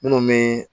Minnu bɛ